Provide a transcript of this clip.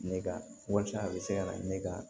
Ne ka walasa a bɛ se ka na ne ka